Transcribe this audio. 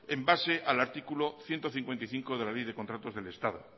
en base al artículo ciento cincuenta y cinco de la ley de contratos del estado